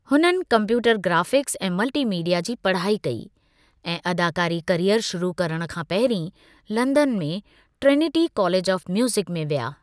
हुननि computer graphics ऐं multimedia जी पढ़ाई कई ऐं अदाकारी कैरीयर शुरू करणु खां पहिरीं लंदन में ट्रिनिटी कॉलेज ऑफ म्यूजिक में विया।